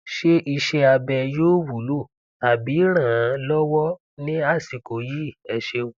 ṣé iṣẹabẹ yóò wúlò tàbí rànán lọwọ ní àsìkò yìí ẹ ṣéun